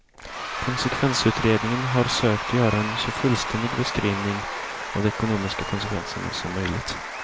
Konsekvensutredningen har sökt göra en så fullständig beskrivning av de ekonomiska konsekvenserna som möjligt.